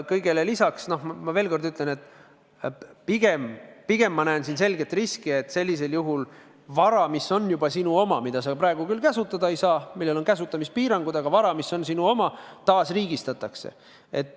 Kõigele lisaks, ma veel kord ütlen, et pigem ma näen siin selget riski, et sellisel juhul vara, mis on juba sinu oma, kuigi sa praegu seda kasutada ei saa, sest sellel on kasutamispiirangud, taasriigistatakse.